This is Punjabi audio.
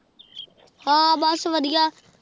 ਹਾਂ ਬਸ ਵਧੀਆ